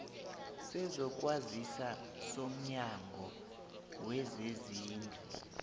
sezokwazisa somnyango wezezindlu